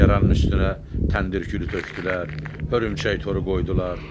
Yaranın üstünə təndir külü tökdülər, hörümçək toru qoydular.